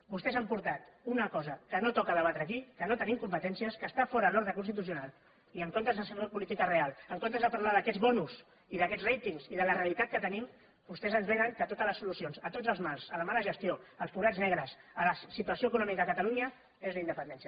vostès han portat una cosa que no toca debatre aquí que no en tenim competències que està fora de l’ordre constitucional i en comptes de fer política real en comptes de parlar d’aquest bonustenim vostès ens venen que totes les solucions a tots els mals a la mala gestió als forats negres a la situació econòmica de catalunya és la independència